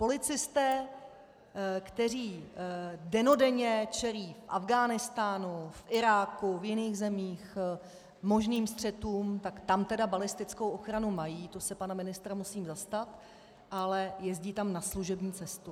Policisté, kteří dennodenně čelí v Afghánistánu, v Iráku, v jiných zemích možným střetům, tak tam - tedy balistickou ochranu mají, to se pana ministra musím zastat, ale jezdí tam na služební cestu.